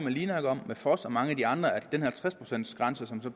linak og med foss og mange af de andre om at den halvtreds procents grænse som så